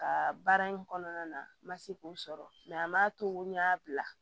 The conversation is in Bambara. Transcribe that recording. Ka baara in kɔnɔna na n ma se k'o sɔrɔ a m'a to n y'a bila